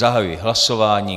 Zahajuji hlasování.